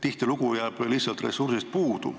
Tihtilugu jääb lihtsalt ressursist puudu.